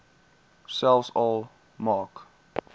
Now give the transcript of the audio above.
selfs al maak